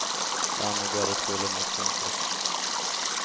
Dermed går det trolig mot konkurs.